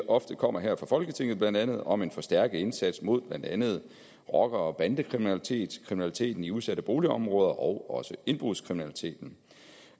ofte kommer her fra folketinget blandt andet om en forstærket indsats mod blandt andet rocker og bandekriminalitet kriminaliteten i udsatte boligområder og også indbrudskriminaliteten